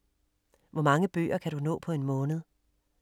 Hvor mange bøger kan du nå på en måned?